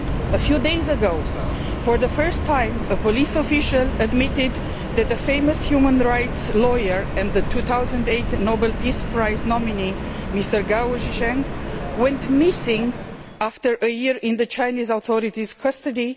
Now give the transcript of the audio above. A few days ago, for the first time, a police official admitted that the famous human rights lawyer and 2008 Nobel Peace Prize nominee, Mr Gao Zhisheng, had gone missing after a year in the Chinese authorities' custody.